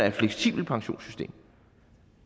et fleksibelt pensionssystem